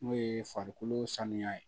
N'o ye farikolo sanuya ye